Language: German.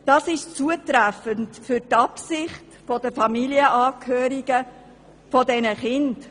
Dies ist zutreffend für die Absicht der Familienangehörigen dieser Kinder.